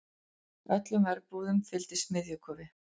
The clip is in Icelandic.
Öllum verbúðum fylgdi smiðjukofi.